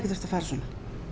þurft að fara svona